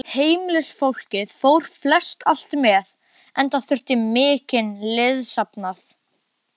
Heimilisfólkið fór flestallt með, enda þurfti mikinn liðsafnað.